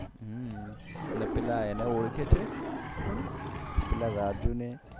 ને પેલા એને ઓળખે છે પેલા રાજુ ને